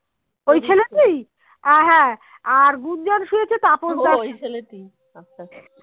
আচ্ছা